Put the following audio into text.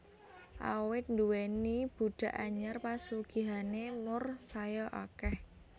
Awit nduwèni budhak anyar pasugihané Moor saya akèh